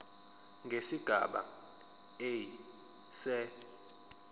nesigaba a se